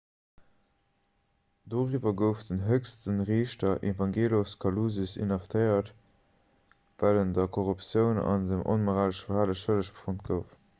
doriwwer gouf den héchste riichter evangelos kalousis inhaftéiert well en der korruptioun an dem onmoralesche verhale schëlleg befonnt gouf